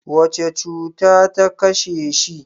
Wace cuta ta kashe shi?